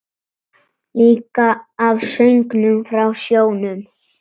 Líka af söngnum frá sjónum.